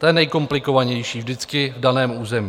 to je nejkomplikovanější vždycky v daném území.